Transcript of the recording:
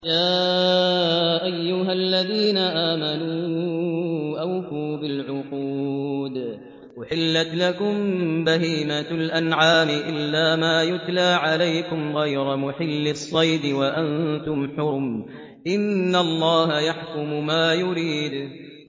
يَا أَيُّهَا الَّذِينَ آمَنُوا أَوْفُوا بِالْعُقُودِ ۚ أُحِلَّتْ لَكُم بَهِيمَةُ الْأَنْعَامِ إِلَّا مَا يُتْلَىٰ عَلَيْكُمْ غَيْرَ مُحِلِّي الصَّيْدِ وَأَنتُمْ حُرُمٌ ۗ إِنَّ اللَّهَ يَحْكُمُ مَا يُرِيدُ